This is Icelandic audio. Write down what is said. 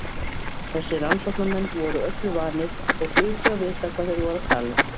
Þessir rannsóknarmenn voru öllu vanir og hlutu að vita hvað þeir voru að tala um.